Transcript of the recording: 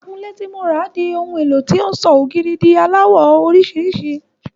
Akunlé ti mo rà di ohun éló tó ń sọ ògiri lásán di aláwọ̀ orísìírísìí.